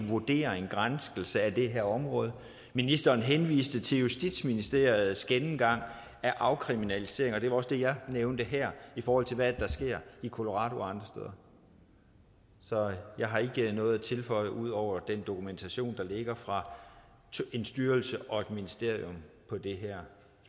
vurdering og granskning af det her område ministeren henviste til justitsministeriets gennemgang af afkriminalisering og det var også det jeg nævnte her i forhold til hvad det er der sker i colorado og andre steder så jeg har ikke noget at tilføje ud over den dokumentation der ligger fra en styrelse og et ministerium på det her